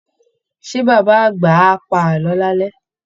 Ṣé baba àgbà á pa àlọ́ lálẹ́?